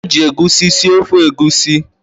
Eji egusi sie ofe Egusi.